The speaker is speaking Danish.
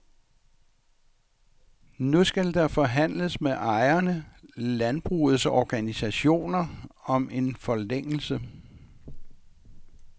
Nu skal der forhandles med ejerne, landbrugets organisationer, om en forlængelse.